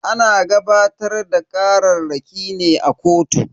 Ana gabatar da kararraki ne a kotu.